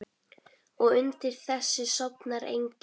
Og undir þessu sofnar enginn.